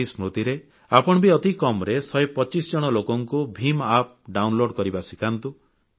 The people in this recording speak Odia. ସେଇ ସ୍ମୃତିରେ ଆପଣ ବି ଅତି କମ୍ ରେ 125 ଜଣ ଲୋକଙ୍କୁ ଭିମ୍ App ଡାଉନଲୋଡ କରିବା ଶିଖାନ୍ତୁ